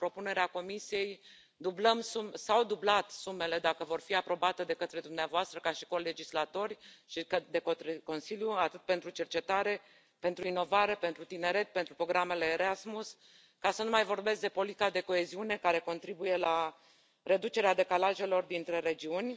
În propunerea Comisiei s au dublat sumele dacă vor fi aprobate de către dumneavoastră ca și colegislatori și de către Consiliu atât pentru cercetare, pentru inovare, pentru tineret, pentru programele Erasmus, ca să nu mai vorbesc de politica de coeziune care contribuie la reducerea decalajelor dintre regiuni